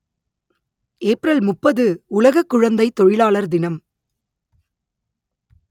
April முப்பது உலக குழந்தைத் தொழிலாளர் தினம்